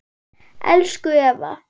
Elsku Eva